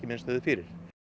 minnst höfðu fyrir